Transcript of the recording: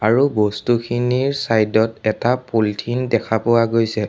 আৰু বস্তুখিনিৰ চাইদ ত এটা পলিথিন দেখা পোৱা গৈছে।